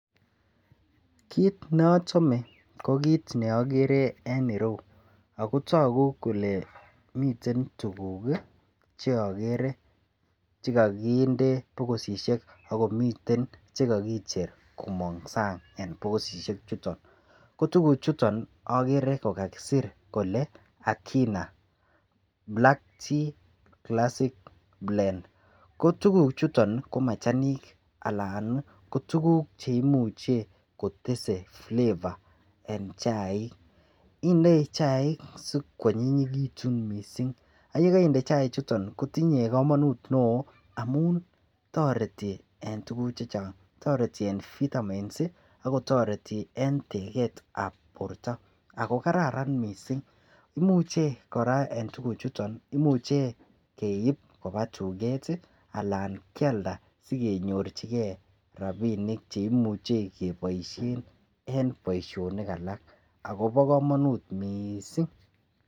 Kit nochome ko kit noker en iroyuu ako toku kole miten tukuk kii cheokere chekokinde bokisishek akomiten chekokicher komong sang en bokisishek chuton ko tukuk chuton okere kokakisir kole Akina black tea classic blend ko tukuk chuton ko machanik alan Nii ko tukuk cheimuche kotesetai flavor en chaik. Indoi chaik sikwonyinyekitun missing ak yekoinde chaik chuton kotinye komonut neo amun toreti en tukuk chechang toreti en vitamins ak kotoreti en teketab borto ako kararan missing. Imuche Koraa en tukuk chuton nii imuche keib koba tuket tii alan Kialda sikenyorchigee rabinik cheimuche keboishen en boishonik alak akobo komonut missing.